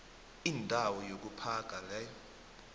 indawo yokuphaga leyo